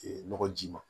nɔgɔ ji ma